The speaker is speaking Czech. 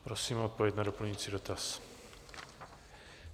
Prosím o odpověď na doplňující dotaz.